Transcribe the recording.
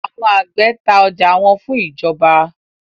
Àwọn àgbẹ ta ọjà wọn fún ìjọba.